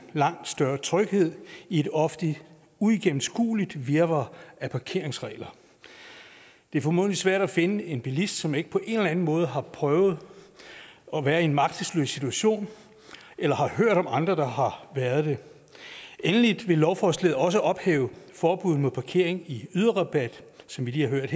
langt større tryghed i et ofte uigennemskueligt virvar af parkeringsregler det er formodentlig svært at finde en bilist som ikke på en eller anden måde har prøvet at være i en magtesløs situation eller har hørt om andre der har været det endelig vil lovforslaget også ophæve forbuddet mod parkering i yderrabat som vi lige har hørt